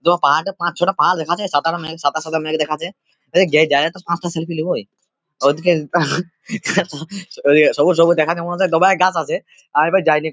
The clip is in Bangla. দপাত পাঁচ ছটা পা দেখা যাচ্ছে সাতারা মাঘ সাদা সাদা মেঘ দেখা যাচ্ছে | পাঁচটা সেলফি নেব এই সবুজ সবুজ গাছ আছে --